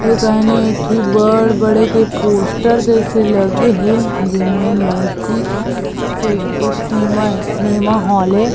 इ गाणी एक बड़े -बड़े के पोस्टर जैसे लगे हे जी में मैजिक सी देखने में सिनेमा हॉल ए --